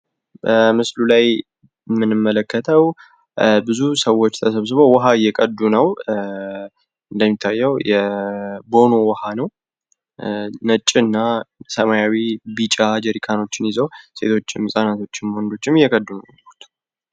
በምስሉ ላይ የምንመለከተው ብዙ ሰዎች ተሰብስበው ዉሃ እየቀዱ ነው። እንደሚታየው የቦኖ ውሃ ነው። ነጭ፣ ሰማያዊና ቢጫ ጀሪካኖች ይዘው ሴቶችም፣ ህፃናቶችም ወንዶችም እየቀዱ ነው።